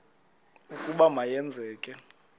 ukuba ma yenzeke